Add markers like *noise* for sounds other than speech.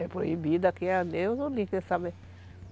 É proibido aqui, adeus *unintelligible*